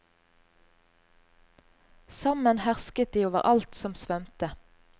Sammen hersket de over alt som svømte.